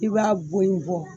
I b'a bɔ in bɔ